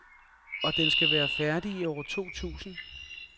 Og den skal være færdig i år to tusind.